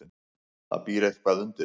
Það býr eitthvað undir.